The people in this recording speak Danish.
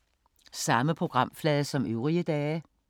Samme programflade som øvrige dage